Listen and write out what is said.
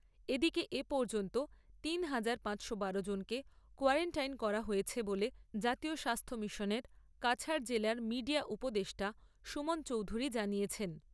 এদিকে এ পর্যন্ত তিন হাজার পাঁচশো জনকে কোয়ারান্টাইন করা হয়েছে বলে জাতীয় স্বাস্থ্য মিশনের কাছাড় জেলার মিডিয়া উপদেষ্টা সুমন চৌধুরী জানিয়েছেন।